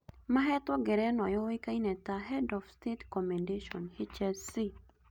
Mahetwo ngerenwa yũĩkaine ta ‘’head of state commendation’’ HSC